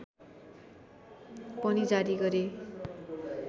पनि जारी गरे